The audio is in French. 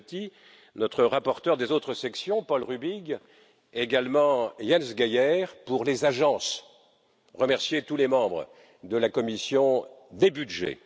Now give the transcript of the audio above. Viotti, notre rapporteur des autres sections, Paul Rübig, également Jens Geier, pour les agences, et remercier tous les membres de la commission des budgets.